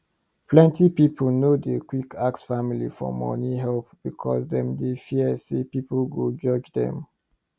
plenty people no dey quick ask family for money help because dem dey fear say people go judge dem